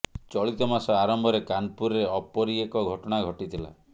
ଚଳିତ ମାସ ଆରମ୍ଭରେ କାନପୁରରେ ଅପରି ଏକ ଘଟଣା ଘଟିଥିଲା